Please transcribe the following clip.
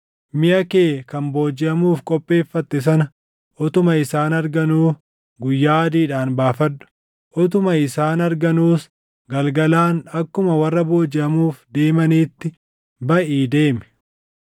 Miʼa kee kan boojiʼamuuf qopheeffatte sana utuma isaan arganuu guyyaa adiidhaan baafadhu. Utuma isaan arganuus galgalaan akkuma warra boojiʼamuuf deemaniitti baʼii deemi.